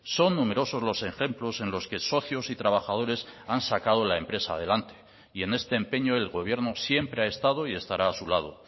son numerosos los ejemplos en los que socios y trabajadores han sacado la empresa adelante y en este empeño el gobierno siempre ha estado y estará a su lado